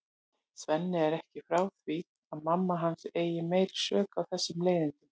Svenni er ekki frá því að mamma hans eigi meiri sök á þessum leiðindum.